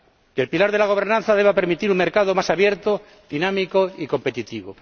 que el pilar de la gobernanza deba permitir un mercado más abierto, dinámico y competitivo.